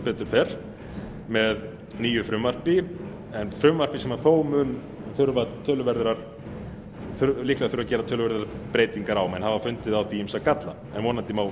fer með nýju frumvarpi en frumvarpi sem þó mun líklega þurfa að gera töluverðar breytingar á menn hafa fundið á því ýmsa galla en vonandi má